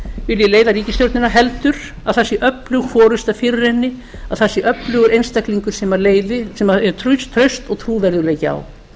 vilji leiða ríkisstjórnin heldur eð það sé öflug forusta fyrir henni það sé öflugur einstaklingur sem er traust og trúverðugleiki á